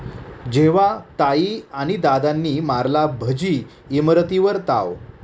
...जेव्हा ताई आणि दादांनी मारला भजी, इमरतीवर ताव